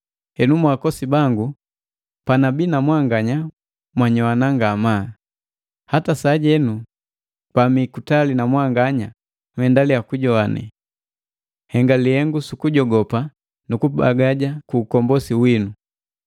Henu mwa akosi bangu, panabii na mwanganya nnyoana ngamaa, hata sajenu pa mii kutali na mwanganya nhendaliya kunyogwane. Nhenga lihengu sukujogopa nukubagaja ku ukombosi winu,